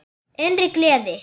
Innri gleði.